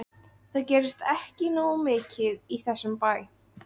Það gerist ekki nógu mikið í þessum bæ.